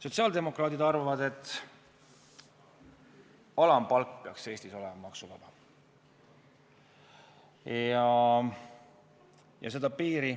Sotsiaaldemokraadid arvavad, et alampalk peaks Eestis olema maksuvaba.